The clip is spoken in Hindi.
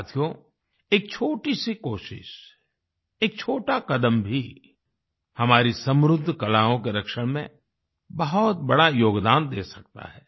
साथियो एक छोटी सी कोशिश एक छोटा कदम भी हमारे समृद्ध कलाओं के संरक्षण में बहुत बड़ा योगदान दे सकता है